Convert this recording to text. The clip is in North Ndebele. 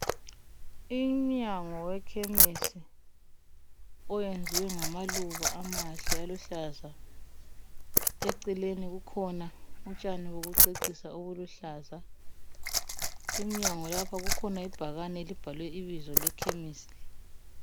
Umnyango wekhemisi owenziwe ngamaluba amahle aluhlaza eceleni kukhona utshani bokucecisa obuluhlaza emnyango lapha kukhona ibhakane elibhalwe ibizo lekhemisi le.